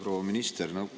Proua minister!